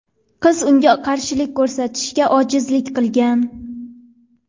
Qiz unga qarshilik ko‘rsatishga ojizlik qilgan.